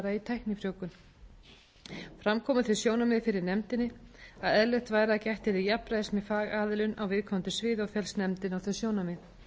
tæknifrjóvgun fram komu þau sjónarmið fyrir nefndinni að eðlilegt væri að gætt yrði jafnræðis með fagaðilum á viðkomandi sviði og fellst nefndin á þau sjónarmið